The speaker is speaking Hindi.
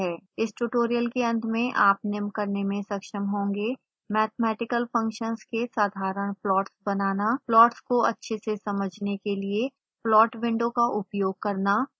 इस ट्यूटोरियल के अंत में आप निम्न करने में सक्षम होंगे